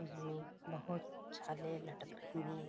उसमें बहुत छाले लटक रही है।